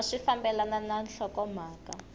a swi fambelani na nhlokomhaka